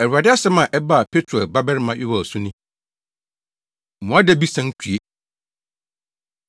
Awurade asɛm a ɛbaa Petuel babarima Yoel so ni. Mmoadabi San Tue